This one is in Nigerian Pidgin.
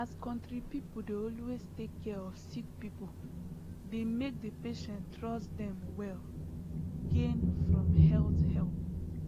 as country people dey always take care of sick people dey make the patient trust them well gain from health help